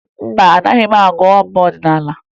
Mba, ọ naghị agụ abụ ọdịnaala